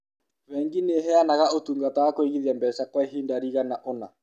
Bengi nĩ ĩheanaga ũtungata wa kũigithia mbeca kwa ihinda rĩgana ũna.